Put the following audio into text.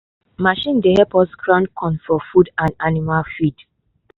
machine dey help us grind corn for food and animal feed.